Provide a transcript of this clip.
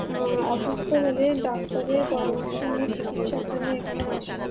ও-ও অসুস্থ হলে ডাক্তারের এর পরামর্শ নিয়ে চিকিৎসা জন্য এখানে আসে।